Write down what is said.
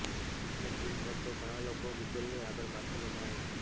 શિક્ષક દિન પર તો ઘણા લોકો ગુગલની આગળ માથું નમાવે છે